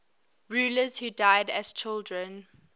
rulers who died as children